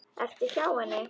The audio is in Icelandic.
Ertu hjá henni?